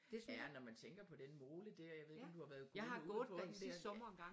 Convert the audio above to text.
Ja når man tænker på den mole dér jeg ved ikke om du har været gået ude på den dér